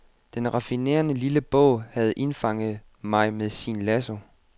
Den raffinerede lille bog havde indfanget mig med sin lasso.